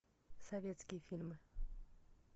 советские фильмы